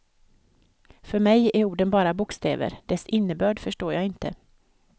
För mig är orden bara bokstäver, dess innebörd förstår jag inte.